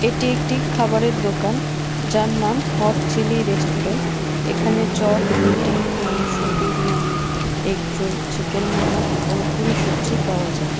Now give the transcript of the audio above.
এটি একটি খাবারের দোকান যার নাম হট চিলি রেস্টুরেন্ট এখানে চপ রুটি মাংস বিরিয়ানি এগরোল চিকেন মমো এবং পুরি সবজি পাওয়া যায়।